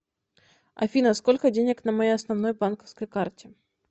афина сколько денег на моей основной банковской карте